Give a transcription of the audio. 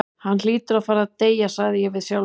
Hann hlýtur að fara að deyja, sagði ég við sjálfan mig.